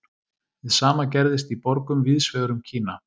Hið sama gerðist í borgum víðs vegar um Kína.